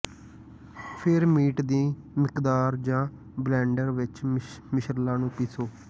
ਫਿਰ ਮੀਟ ਦੀ ਮਿਕਦਾਰ ਜਾਂ ਬਲੈਨਡਰ ਵਿਚ ਮਿਸ਼ਰਲਾਂ ਨੂੰ ਪੀਸੋ